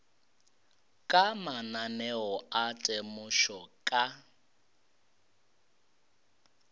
ka mananeo a temošo ka